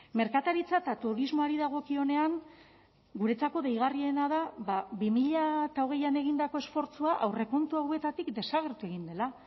merkataritza eta turismoari dagokionean guretzako deigarriena da bi mila hogeian egindako esfortzua aurrekontu hauetatik desagertu egin dela